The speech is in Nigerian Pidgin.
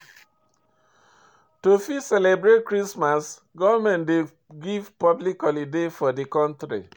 To fit celebrate Christmas government dey give public holiday for di country